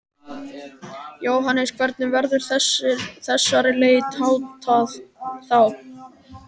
Jóhannes: Hvernig verður þessari leit háttað þá?